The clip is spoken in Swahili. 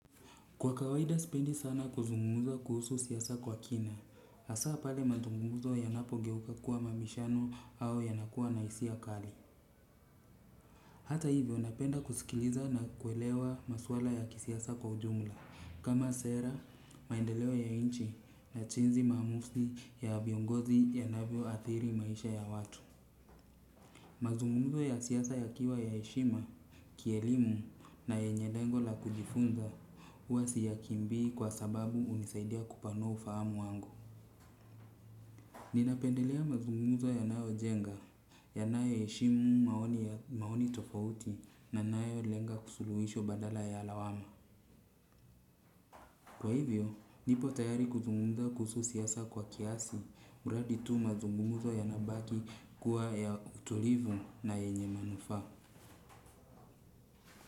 Kwa kawaida sipendi sana kuzungumuza kuhusu siasa kwa kina, hasaa pale mazungumzo yanapogeuka kuwa mabishano au yanakuwa na hisia kali. Hata hivyo napenda kusikiliza na kuelewa maswala ya kisiasa kwa ujumla, kama sera, maendeleo ya nchi na jinsi maamuzi ya viongozi yanavyoathiri maisha ya watu. Mazungumuzo ya siasa yakiwa ya heshima, kielimu na yenye lengo la kujifunza huwa siyakimbii kwa sababu hunisaidia kupanua ufahamu wangu. Ninapendelea mazungumuzo yanayojenga, yanayoheshimu maoni tofauti na yanayolenga suluhisho badala ya lawama. Kwa hivyo nipo tayari kuzungumza kuhusu siasa kwa kiasi, mradi tu mazungumzo yanabaki kuwa ya utulivu na yenye manufaa.